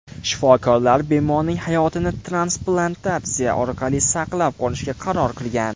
Shifokorlar bemorning hayotini transplantatsiya orqali saqlab qolishga qaror qilgan.